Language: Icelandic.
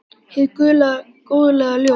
Hið guðlega góðlega ljós.